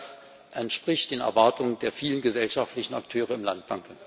Das entspricht den Erwartungen der vielen gesellschaftlichen Akteure im Land.